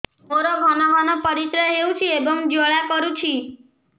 ମୋର ଘନ ଘନ ପରିଶ୍ରା ହେଉଛି ଏବଂ ଜ୍ୱାଳା କରୁଛି